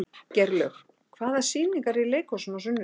Geirlaug, hvaða sýningar eru í leikhúsinu á sunnudaginn?